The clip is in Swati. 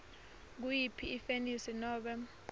nguyiphi ifenisi nobe